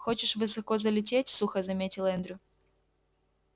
хочешь высоко залететь сухо заметил эндрю